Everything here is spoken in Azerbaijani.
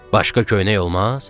Başqa köynək olmaz?